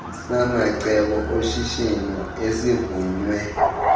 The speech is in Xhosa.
samacebo oshishino esivunywe